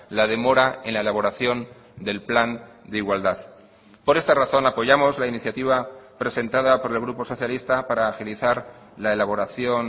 la demora en la elaboración del plan de igualdad por esta razón apoyamos la iniciativa presentada por el grupo socialista para agilizar la elaboración